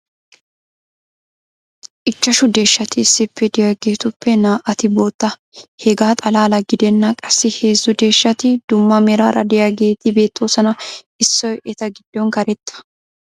Ichchashshu deeshshati issippe diyaageetuppe naa'ati bootta. Hegaa xalaala gidennan qassi heezzu deeshshati dumma meraara diyaageeti beettoosona. Issoy eta gidon karetta.